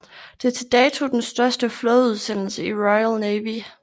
Det er til dato den største flådeudsendelse i Royal Navy